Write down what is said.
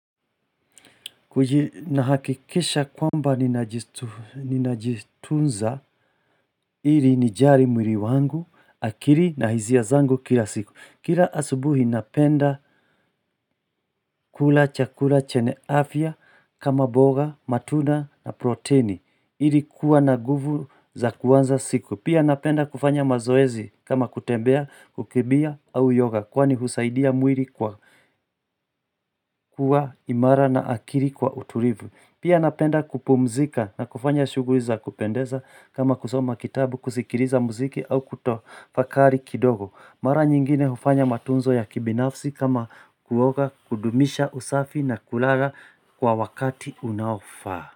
Nahakikisha kwamba ninajitunza ili nijali mwili wangu, akili na hisia zangu kila siku. Kila asubuhi napenda kula chakula chenye afya kama mboga, matunda na proteini ili kuwa na guvu za kuanza siku. Pia napenda kufanya mazoezi kama kutembea, kukimbia au yoga Kwani husaidia mwili kuwa imara na akili kuwa utulivu. Pia napenda kupumzika na kufanya shughuli za kupendeza kama kusoma kitabu, kusikiliza muziki au kutafakari kidogo. Mara nyingine hufanya matunzo ya kibinafsi kama kuoga, kudumisha usafi na kulala kwa wakati unaofaa.